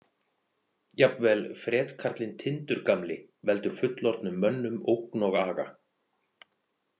Jafnvel fretkarlinn Tindur gamli veldur fullorðnum mönnum ógn og aga.